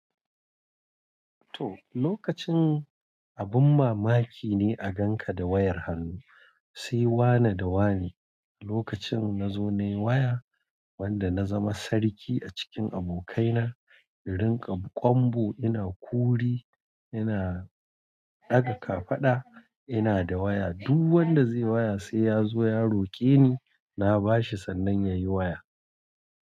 To, lokacin abin mamaki ne a gan ka da wayar hannu. Sai wane da wane. Lokacin na zo na yi waya, wanda na zama sarki a cikin abokaina. In rinƙa kwambo ina kuri, ina ɗaga kafada ina da waya. Duk wanda zai waya sai ya zo ya roƙe ni na bashi sannan ya yi waya.